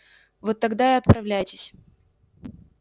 вот тогда и отправляйтесь